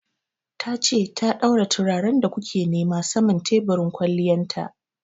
Ta ce ta daura turaren da ku ke nema saman teburin kwalliyan ta.